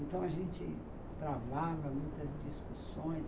Então, a gente travava muitas discussões.